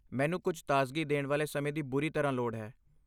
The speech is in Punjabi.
ਮੈਨੂੰ ਕੁਝ ਤਾਜ਼ਗੀ ਦੇਣ ਵਾਲੇ ਸਮੇਂ ਦੀ ਬੁਰੀ ਤਰ੍ਹਾਂ ਲੋੜ ਹੈ।